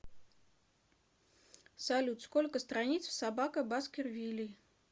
салют сколько страниц в собака баскервилей